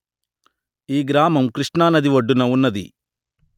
ఈ గ్రామం కృష్ణా నది ఒడ్డున వున్నది